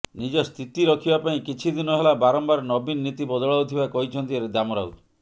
ନିଜ ସ୍ଥିତି ରଖିବା ପାଇଁ କିଛି ଦିନ ହେଲା ବାରମ୍ବାର ନବୀନ ନୀତି ବଦଳାଉଥିବା କହିଛନ୍ତି ଦାମ ରାଉତ